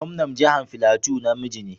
Gwamnan jihar Filato na miji ne.